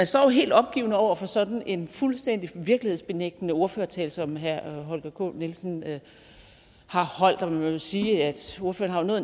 står jo helt opgivende over for sådan en fuldstændig virkelighedsbenægtende ordførertale som herre holger k nielsen har holdt og man må vel sige at ordføreren har